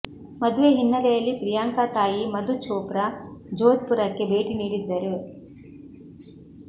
ಮದುವೆ ಹಿನ್ನೆಲೆಯಲ್ಲಿ ಪ್ರಿಯಾಂಕ ತಾಯಿ ಮಧು ಚೋಪ್ರಾ ಜೋಧ್ಪುರಕ್ಕೆ ಭೇಟಿ ನೀಡಿದ್ದರು